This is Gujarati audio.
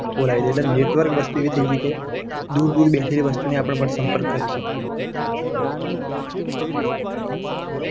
Network વસ્તુ એવી થઈ છે. કે દૂર દૂર બેઠેલી વસ્તીને પણ આપણી સંપર્ક કરી શકીએ.